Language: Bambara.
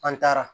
An taara